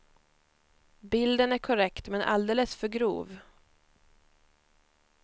Bilden är korrekt men alldeles för grov.